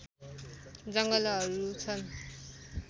जङ्गलहरू छन्